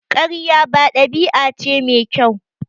Ƙarya ba ɗabi'a ce mai kyau.